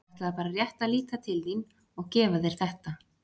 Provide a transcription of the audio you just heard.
Ég ætlaði bara rétt að líta til þín og gefa þér þetta.